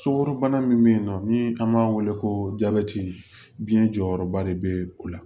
Sukaro bana min be yen nɔ ni an b'a wele ko jabɛti biɲɛ jɔyɔrɔba de be o la